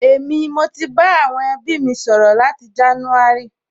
Èmi, mo ti bá àwọn ẹbí mi sọ̀rọ̀ láti jánúárì